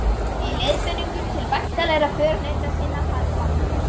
Í leiðbeiningum til væntanlegra förunauta sinna harðbannaði